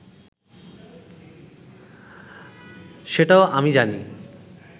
সেটাও আমি জানি